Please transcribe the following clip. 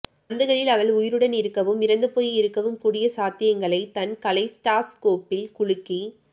சந்துகளில் அவள் உயிருடன் இருக்கவும் இறந்துபோயிருக்கவும் கூடிய சாத்தியங்களைத் தன் கலைடாஸ்கோப்பில் குலுக்கி